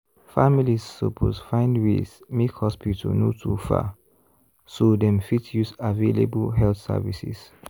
families suppose find ways make hospital no too far so dem fit use available health services.